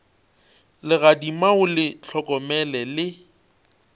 legadima o le hlokomele le